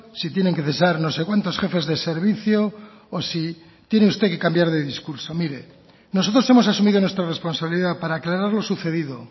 si tienen que cesar no sé cuántos jefes de servicio o si tiene usted que cambiar de discurso mire nosotros hemos asumido nuestra responsabilidad para aclarar lo sucedido